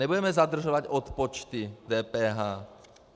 Nebudeme zadržovat odpočty DPH.